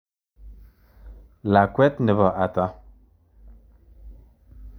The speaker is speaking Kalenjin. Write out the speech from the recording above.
Lakwet nebo ata?